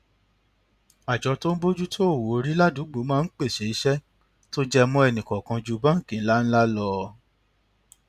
àjọ tó ń bójú tó owó orí ládùúgbò máa ń pèsè iṣẹ tó jẹ mọ ẹnì kọọkan ju báńkì ńláńlá lọ